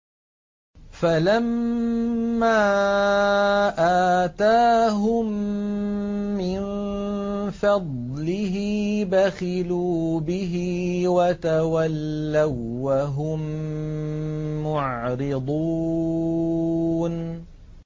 فَلَمَّا آتَاهُم مِّن فَضْلِهِ بَخِلُوا بِهِ وَتَوَلَّوا وَّهُم مُّعْرِضُونَ